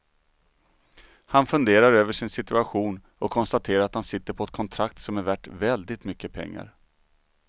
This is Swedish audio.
Han funderar över sin situation och konstaterar att han sitter på ett kontrakt som är värt väldigt mycket pengar.